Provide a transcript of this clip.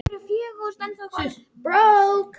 Hrafndís, hvaða dagur er í dag?